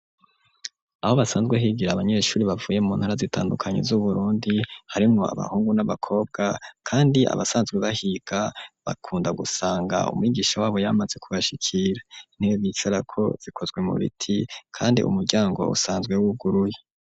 Aho basanzwe higira abanyeshuri, bavuye mu ntara zitandukanye z'Uburundi, harimwo abahungu n'abakobwa, kandi abasanzwe bahiga, bakunda gusanga umwigisha wabo yamaze kubashikira; intebe bicarako zikozwe mu biti, kandi umuryango usanzwe wuguruye.